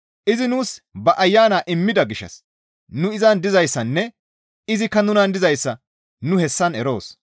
Izi nuus ba Ayana immida gishshas nu izan dizayssanne izikka nunan dizayssa nu hessan eroos.